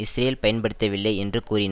Israel பயன்படுத்தவில்லை என்று கூறின